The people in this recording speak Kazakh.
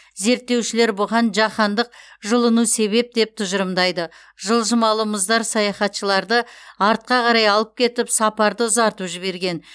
зерттеушілер бұған жаһандық жылыну себеп деп тұжырымдайды жылжымалы мұздар саяхатшыларды артқа қарай алып кетіп сапарды ұзартып жіберген